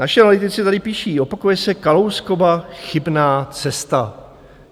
Naši analytici tady píší, opakuje se Kalouskova chybná cesta.